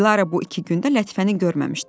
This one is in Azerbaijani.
Dilara bu iki gündə Lətifəni görməmişdi.